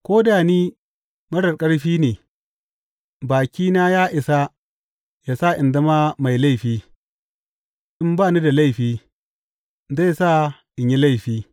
Ko da ni marar ƙarfi ne, bakina ya isa yă sa in zama mai laifi; in ba ni da laifi, zai sa in yi laifi.